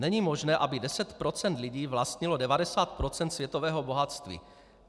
Není možné, aby 10 % lidí vlastnilo 90 % světového bohatství.